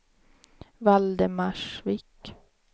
Valdemarsvik